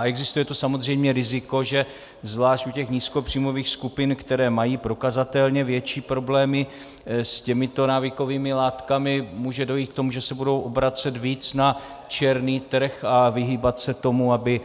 A existuje tu samozřejmě riziko, že zvlášť u těch nízkopříjmových skupin, které mají prokazatelně větší problémy s těmito návykovými látkami, může dojít k tomu, že se budou obracet víc na černý trh a vyhýbat se tomu, aby